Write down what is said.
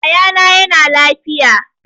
Yaya na yana lafiya